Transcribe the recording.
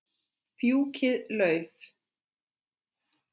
Fjúkiði lauf.